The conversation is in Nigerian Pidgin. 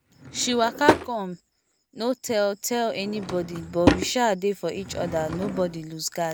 she waka come no tell tell anybody but we sha dey for each other nobody loose guard